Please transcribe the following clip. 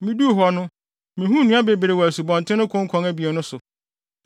Miduu hɔ no, mihuu nnua bebree wɔ asubɔnten no konkɔn abien no so.